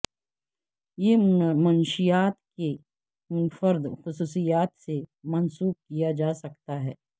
یہ منشیات کی منفرد خصوصیات سے منسوب کیا جا سکتا ہے